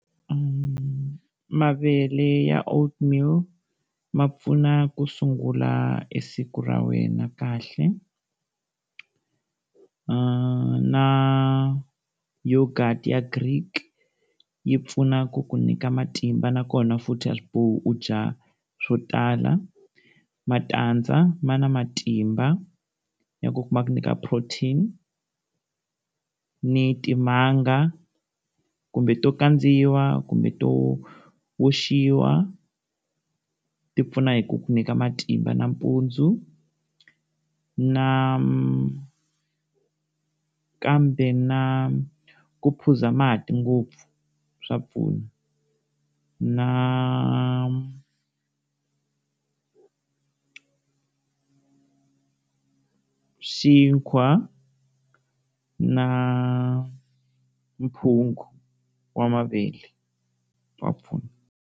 Mavele ya old meal ma pfuna ku sungula siku ra wena kahle, eerh na yogurt ya green yi pfuna ku ku nyika matimba, na kona futhi a swibohi u dya swo tala. Matandza ma na matimba ya ku kuma ku nyika protein ni timanga kumbe to kandzeriwa kumbe to oxiwa, ti pfuna hi ku ku nyika matimba nampundzu. Nakambe na ku phuza mati ngopfu swa pfuna na xinkwa na phungu wa mavele wa pfuna.